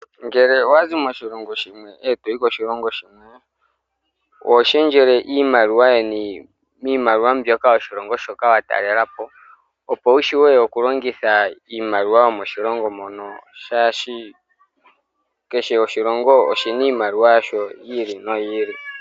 Ngele owa zi moshilongo shimwe eto yi koshilongo shimwe, oho lundulula iimaliwa yeni miimaliwa yoshilongo shoka to ka talelapo opo wu vule okulongitha iimaliwa yomoshilongo shoka, molwaashoka kehe oshilongo oshina iimaliwa yasho.